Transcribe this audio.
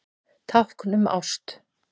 Tákn um ást